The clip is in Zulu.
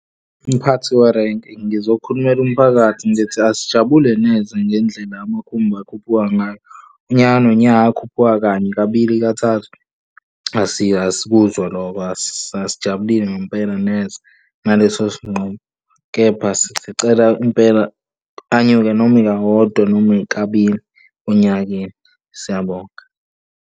Mphathi werenki ngizokhulumela umphakathi ngithi asijabule neze ngendlela amakhumbi akhuphuka ngayo unyaka no nyaka, akhuphuka kanye kabili, kathathu. Asikuzwa lokho, asijabulile ngempela neze ngaleso sinqumo, kepha sicela impela anyuke, noma ika wodwa noma ikabili onyakeni, siyabonga.